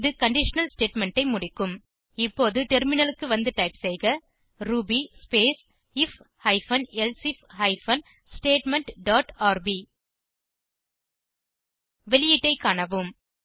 பின் இது conditional statement ஐ முடிக்கும் இப்போது டெர்மினலுக்கு வந்து டைப் செய்க Ruby space if hyphen elsif hyphen statement dot rb வெளியீட்டை காணவும்